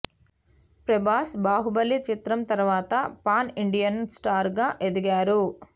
ప్రభాస్ బాహుబలి చిత్రం తర్వాత pan Indian star గా ఎదిగారు